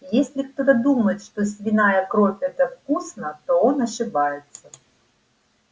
если кто-то думает что свиная кровь это вкусно то он ошибается